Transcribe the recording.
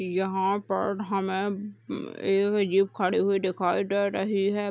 यहां पर हमें एक जीप खड़ी हुई दिखाई दे रही है।